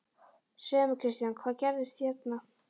Segðu mér Kristján, hvað gerðist hérna?